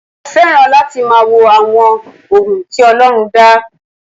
Mo fẹ́ràn láti máa wo àwọn ohun tí Ọlọ́run dá.